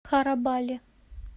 харабали